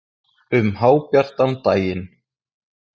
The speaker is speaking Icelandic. Um hábjartan daginn!